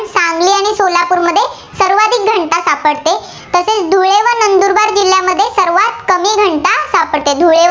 सापडते, धुळे व